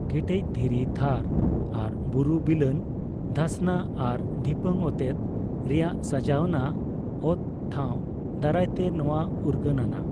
ᱠᱮᱴᱮᱡ ᱫᱷᱤᱨᱤ ᱛᱷᱟᱨ ᱟᱨ ᱵᱩᱨᱩ, ᱵᱤᱞᱟᱹᱱ, ᱫᱷᱟᱥᱱᱟ ᱟᱨ ᱰᱷᱤᱯᱟᱹᱝ ᱚᱛᱮᱛ ᱨᱮᱭᱟᱜ ᱥᱟᱡᱟᱣᱟᱱᱟᱜ ᱚᱛᱴᱷᱟᱣ ᱫᱟᱨᱟᱭᱛᱮ ᱱᱚᱣᱟ ᱩᱨᱜᱟᱹᱱᱼᱟᱱᱟᱜ ᱾